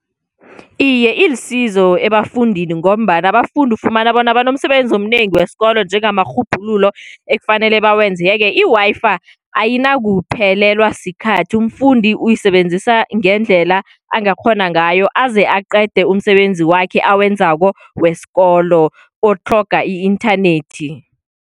Iye, ilisizo ebafundini ngombana abafundi ufumana bona banomsebenzi omnengi wesikolo njengamarhubhululo, ekufanele bawenzeke. I-Wi-Fi ayinakuphelelwa sikhathi. Umfundi uyisebenzisa ngendlela angakghona ngayo aze aqede umsebenzi wakhe awenzako wesikolo otlhoga i-inthanethi.